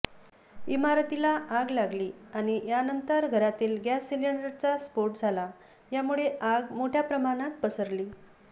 इमारतीला आग लागली आणि यानंतर घरातील गॅस सिलेंडरचा स्फोट झाला यामुळे आगी मोठ्या प्रमाणात पसरली